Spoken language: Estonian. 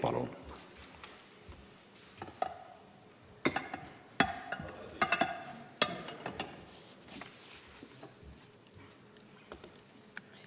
Palun!